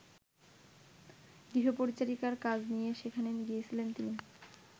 গৃহপরিচারিকার কাজ নিয়ে সেখানে গিয়েছিলেন তিনি।